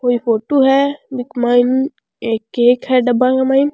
कोई फोटो है बिक मायने एक केक है डब्बा के मायन।